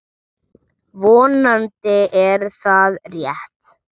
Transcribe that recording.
Vonandi er það rétt.